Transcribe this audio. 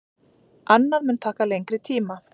Annað mun taka lengri tíma.